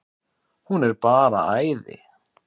Hún er bara æði.